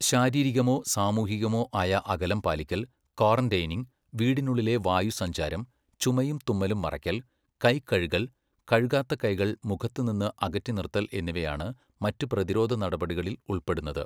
ശാരീരികമോ സാമൂഹികമോ ആയ അകലം പാലിക്കൽ, ക്വാറന്റൈനിംഗ്, വീടിനുള്ളിലെ വായുസഞ്ചാരം, ചുമയും തുമ്മലും മറയ്ക്കൽ, കൈ കഴുകൽ, കഴുകാത്ത കൈകൾ മുഖത്ത് നിന്ന് അകറ്റി നിർത്തൽ എന്നിവയാണ് മറ്റ് പ്രതിരോധ നടപടികളിൽ ഉൾപ്പെടുന്നത്.